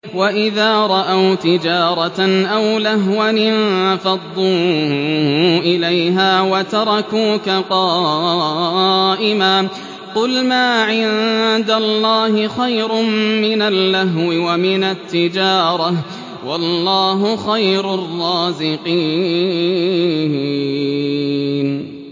وَإِذَا رَأَوْا تِجَارَةً أَوْ لَهْوًا انفَضُّوا إِلَيْهَا وَتَرَكُوكَ قَائِمًا ۚ قُلْ مَا عِندَ اللَّهِ خَيْرٌ مِّنَ اللَّهْوِ وَمِنَ التِّجَارَةِ ۚ وَاللَّهُ خَيْرُ الرَّازِقِينَ